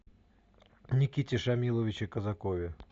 никите шамиловиче казакове